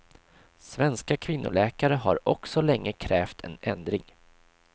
Svenska kvinnoläkare har också länge krävt en ändring.